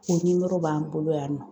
O b'an bolo yan nɔ